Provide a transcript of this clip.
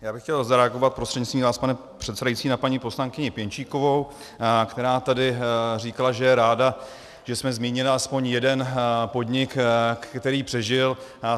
Já bych chtěl zareagovat prostřednictvím vás, pane předsedající, na paní poslankyni Pěnčíkovou, která tady říkala, že je ráda, že jsme zmínili aspoň jeden podnik, který přežil.